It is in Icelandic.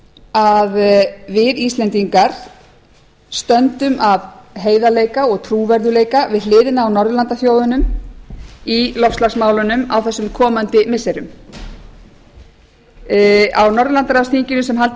að við íslendingar stöndum af heiðarleika og trúverðugleika við hliðina á norðurlandaþjóðunum í loftslagsmálunum á þessum komandi missirum á norðurlandaráðsþinginu sem haldið var